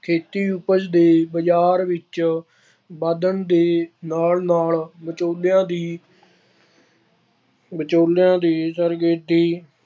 ਖੇਤੀ ਉਪਜ ਦੇ ਬਾਜ਼ਾਰ ਵਿੱਚ ਵਧਣ ਦੇ ਨਾਲ ਨਾਲ ਵਿਚੌਲਿਆਂ ਦੀ ਵਿਚੌਲਿਆਂ ਦੀ